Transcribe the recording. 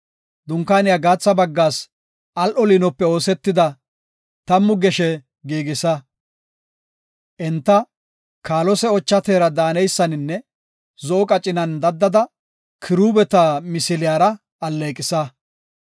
“Dunkaaniya gaatha baggaas al7o liinope oosetida, tammu geshe giigisa. Enta kaalose, ocha teera daaneysaninne zo7o qacinan daddada kiruubeta misiliyara alleeqisa.